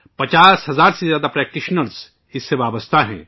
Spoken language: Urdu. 50 ہزار سے زیادہ پریکٹیشنرز اس سے وابستہ ہیں